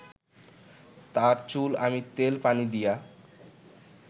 তর চুল আমি তেল পানি দিয়া